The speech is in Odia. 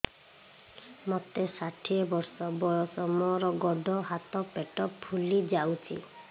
ମୋତେ ଷାଠିଏ ବର୍ଷ ବୟସ ମୋର ଗୋଡୋ ହାତ ପେଟ ଫୁଲି ଯାଉଛି